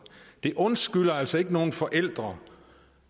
det undskylder altså ikke nogen forældre